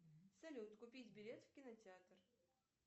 салют купить билет в кинотеатр